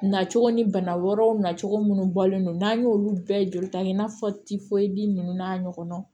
Na cogo ni bana wɛrɛw nacogo minnu bɔlen don n'an y'olu bɛɛ joli ta kɛ i n'a fɔ ninnu n'a ɲɔgɔnnaw